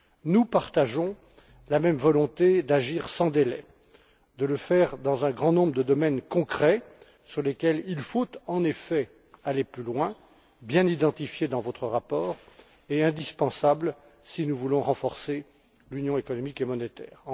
Nous partageons la même volonté d'agir sans délai, de le faire dans un grand nombre de domaines concrets dans lesquels il faut, en effet, aller plus loin bien identifiés dans votre rapport et indispensables si nous voulons renforcer l'union économique et monétaire.